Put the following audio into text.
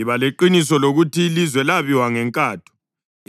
Iba leqiniso lokuthi ilizwe labiwa ngenkatho.